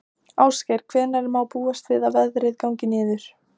Ásgeir, hvenær má búast við að veðrið gangi niður?